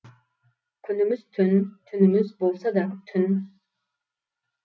күніміз түн түніміз болса да түн